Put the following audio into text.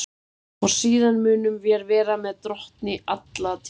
Og síðan munum vér vera með Drottni alla tíma.